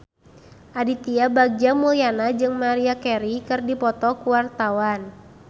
Aditya Bagja Mulyana jeung Maria Carey keur dipoto ku wartawan